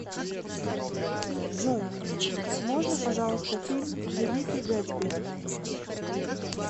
джой можно пожалуйста фильм великий гэтсби